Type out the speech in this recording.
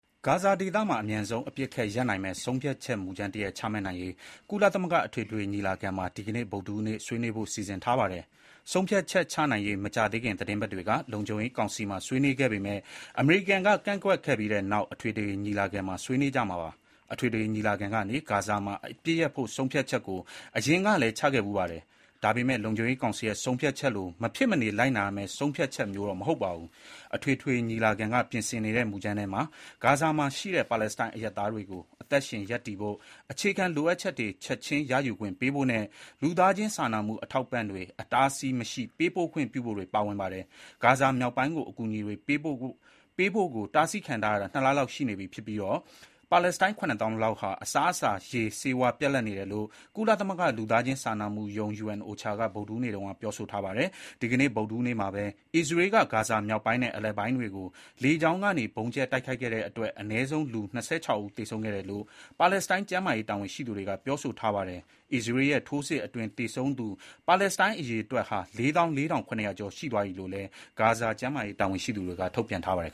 ဂါဇာဒေသမှာ အမြန်ဆုံး အပစ်အခတ်ရပ်နိုင်မယ့် ဆုံးဖြတ်ချက်မူကြမ်းတရပ် ချမှတ်နိုင်ရေး ကုလသမဂ္ဂအထွေထွေညီလာခံမှာ ဒီကနေ့ ဗုဒ္ဓဟူးနေ့ ဆွေးနွေးဖို့ စီစဉ်ထားပါတယ်။ ဆုံးဖြတ်ချက်ချနိုင်ရေး မကြာသေးခင် သီတင်းပတ်တွေက လုံခြုံရေးကောင်စီမှာ ဆွေးနွေးခဲ့ပေမဲ့ အမေရိကန်က ကန့်ကွက်ခဲ့ပြီးနောက် အထွေထွေညီလာခံမှာ ဆွေးနွေးကြမှာပါ။ အထွေထွေညီလာခံကနေ ဂါဇာမှာအပစ်ရပ်ဖို့ ဆုံးဖြတ်ချက်ကိုအရင်ကလည်း ချမှတ်ခဲ့ဖူးပါတယ်။ ဒါပေမယ့် လုံခြုံရေးကောင်စီရဲ့ ဆုံးဖြတ်ချက်လို မဖြစ်မနေလိုက်နာရမယ့် ဆုံးဖြတ်ချက်မျိုးတော့ မဟုတ်ပါဘူး။ အထွေထွေညီလာခံက ပြင်ဆင်နေတဲ့ မူကြမ်းထဲမှာ ဂါဇာမှာရှိတဲ့ ပါလက်စတိုင်းအရပ်သားတွေကို အသက်ရှင်ရပ်တည်ဖို့ အခြေခံလိုအပ်ချက်တွေ ချက်ခြင်းရယူခွင့်ပေးဖို့နဲ့ လူသားချင်းစာနာမှု အထောက်အပံ့တွေ အတားအဆီးမရှိပေးပို့ခွင့်ပြုဖို့တွေပါဝင်ပါတယ်။ ဂါဇာမြောက်ပိုင်းကို အကူအညီတွေပေးဖို့ကို တားဆီးခံထားရတာ ၂ လလောက်ရှိနေပြီဖြစ်ပြီး၊ ပါလက်စတိုင်း ၇၀,၀၀၀ လောက်ဟာ အစာရေစာနဲ့ ဆေးဝါးတွေပြတ်လပ်နေတယ်လို့ ကုလသမဂ္ဂ လူသားချင်းစာနာမှုရုံး UNOCHA က အင်္ဂါနေ့တုန်းကပြောခဲ့ပါတယ်။ ဒီကနေ့ ဗုဒ္ဓဟူးနေ့မှာပဲ အစ္စရေးက ဂါဇာမြောက်ပိုင်းနဲ့ အလယ်ပိုင်းတွေကို လေကြောင်းကနေ ဗုံးကြဲ တိုက်ခိုက်ခဲ့တဲ့အတွက် အနည်းဆုံးလူ ၂၆ ဦးသေဆုံးခဲ့တယ်လို့ ပါလက်စတိုင်း ကျန်းမာရေး တာဝန်ရှိ သူတွေကပြောထားပါတယ်။ အစ္စရေးရဲ့ထိုးစစ်အတွင်း သေဆုံးသူ ပါလက်စတိုင်း အရေအတွက်ဟာ ၄၄,၇၀၀ ကျော်သွားပြီလို့လည်း ဂါဇာကျန်းမာရေးတာဝန်ရှိသူတွေက ထုတ်ပြန်ထားပါတယ်